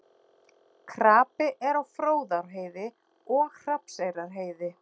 Krapi er á Fróðárheiði og Hrafnseyrarheiði